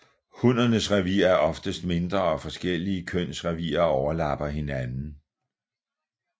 Hunnernes revir er oftest mindre og forskellige køns revirer overlapper hinanden